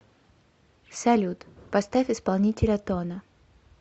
салют поставь исполнителя тона